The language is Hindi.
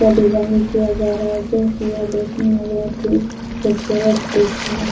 का डिजाइन किया जा रहा है जो की यह देखने में बहुत ही खूबसूरत दिख रहा है।